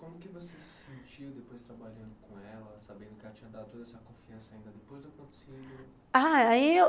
Como que você se sentiu depois trabalhando com ela, sabendo que ela tinha dado toda essa confiança ainda depois do acontecimento? ah, aí eu